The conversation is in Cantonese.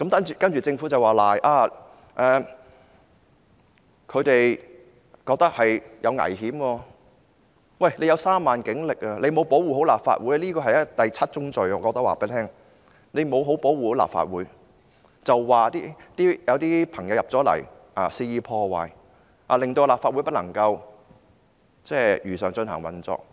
政府擁有3萬警力，沒有好好保護立法會，我可以告訴她，這是第七宗罪，她沒有好好保護立法會，卻說有些人進入立法會大樓肆意破壞，導致立法會不能如常運作。